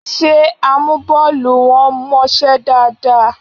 Ṣé amúbọ́ọlù wọn mọṣẹ́ dáadáa?